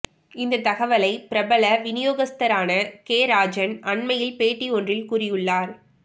இந்த தகவலை பிரபல வினியோகஸ்தரான கே ராஜன் அண்மையில் பேட்டி ஒன்றில் கூறியுள்ளார்